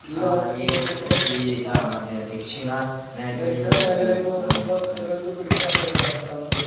ഈ ഭാഗത്തേക്ക് നോക്കുമ്പോ ദക്ഷിണ മേഖലയിലേക്ക് നോക്കുമ്പോ ചെലോർക്ക് പിടിക്കാൻ കഴിയൂല തണുപ്പ്